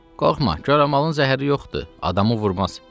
Qorxma, koramalın zəhəri yoxdur, adamı vurmaz.